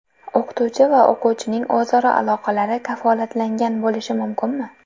O‘qituvchi va o‘quvchining o‘zaro aloqalari kafolatlangan bo‘lishi mumkinmi?